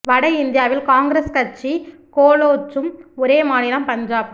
வட இந்தியாவில் காங்கிரஸ் கட்சி கோலோச்சும் ஒரே மாநிலம் பஞ்சாப்